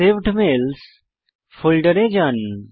saved mails ফোল্ডারে যান